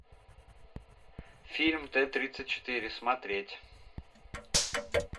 фильм т тридцать четыре смотреть